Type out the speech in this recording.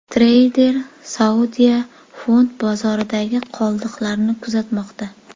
Treyder Saudiya fond bozoridagi qoldiqlarni kuzatmoqda.